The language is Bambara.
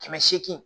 Kɛmɛ seegin